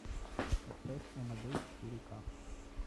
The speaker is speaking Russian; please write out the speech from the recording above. поставь амадей четыре ка